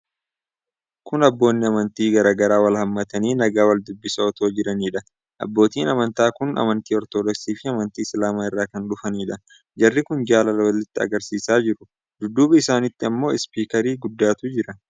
Kun Abboonni amantii garaa garaa wal hammatanii nagaa wal dubbisaa otoo jiraniiidha. Abbootiin amantaa kun Amantii Ortodoksii fi Amantii Islaamaa irraa kan dhufaniidha. Jarri kun jaalala walitti agarsiisaa jiru. Dudduuba isaaniitti ammoo Ispiikarii guddaatu jira.